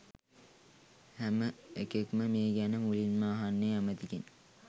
හැම එකෙක්ම මේ ගැන මුලින්ම අහන්නේ ඇමතිගෙන්.